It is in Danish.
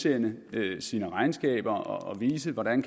en fælles